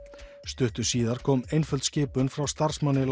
stuttu síðar kom einföld skipun frá starfsmanni